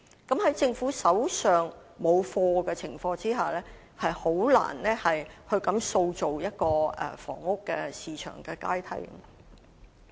在政府手上沒有"貨源"的情況下，實在難以塑造房屋市場的階梯。